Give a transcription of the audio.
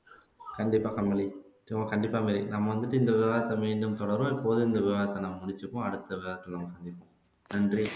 கண்டிப்பா கமலி கண்டிப்பா மேரி நாம வந்துட்டு இந்த விவகாரத்தை மீண்டும் தொடர்வோம் இப்போது இந்த விவகாரத்தை நம்ம முடிச்சுப்போம் அடுத்த விவகாரத்துல நன்றி